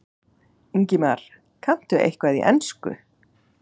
Ingimar: Kanntu eitthvað í ensku?